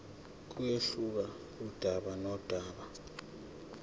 kuyehluka kudaba nodaba